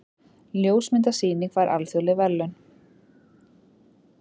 Ljósmyndasýning fær alþjóðleg verðlaun